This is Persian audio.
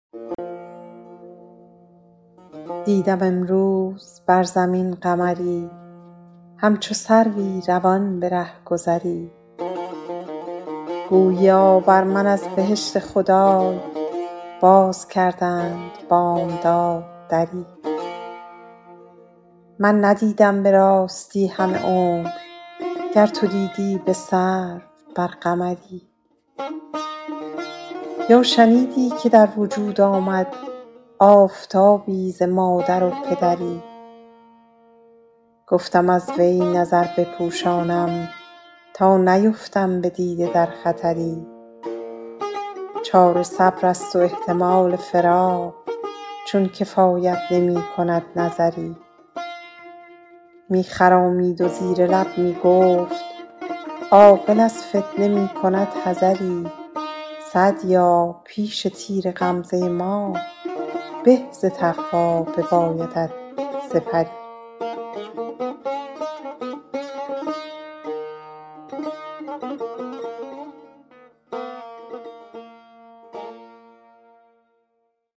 دیدم امروز بر زمین قمری همچو سروی روان به رهگذری گوییا بر من از بهشت خدای باز کردند بامداد دری من ندیدم به راستی همه عمر گر تو دیدی به سرو بر قمری یا شنیدی که در وجود آمد آفتابی ز مادر و پدری گفتم از وی نظر بپوشانم تا نیفتم به دیده در خطری چاره صبر است و احتمال فراق چون کفایت نمی کند نظری می خرامید و زیر لب می گفت عاقل از فتنه می کند حذری سعدیا پیش تیر غمزه ما به ز تقوا ببایدت سپری